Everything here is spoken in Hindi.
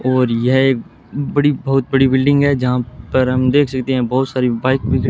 और यह एक बड़ी बहुत बड़ी बिल्डिंग है जहां पर हम देख सकते हैं बहुत सारी बाइक भी--